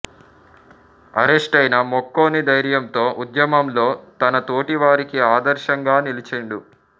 అరెస్టయినా మొక్కవోని ధైర్యంతో ఉద్యమంలో తన తోటి వారికి ఆదర్శంగా నిలిచిండు